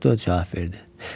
Konduktor cavab verdi: